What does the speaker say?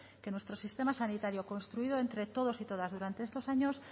que nuestro sistema sanitario construido entre todos y todas durante estos años